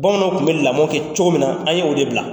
Bamananw tun bɛ lamɔ kɛ cogo min na an ye o de bila.